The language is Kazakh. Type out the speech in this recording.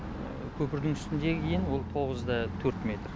көпірдің үстіндегі ені ол тоғыз да төрт метр